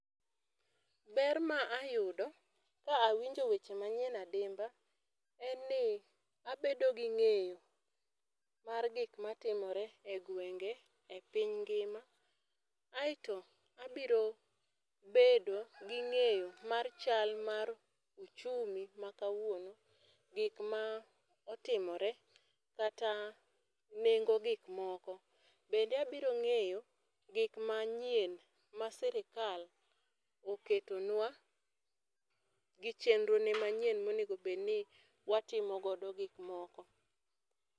Ber ma ayudo ka awinjo weche ma nyien adimba en ni abedo gi ng'eyo mar gik ma timore e gwenge e piny ngima. Aito abiro bedo gi ng'eyo mar chal mar uchumi ma kawuono, gik m aotimore kata nengo gik moko. Bende abiro ng'eyo gik ma nyien ma sirkal oketonwa gi chenro ne ma nyien ma onego bed ni watimo go gik moko.